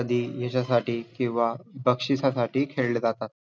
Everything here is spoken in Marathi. कधी यशासाठी किंवा बक्षीसासाठी खेळले जातात.